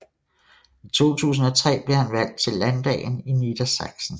I 2003 blev han valgt til landdagen i Niedersachsen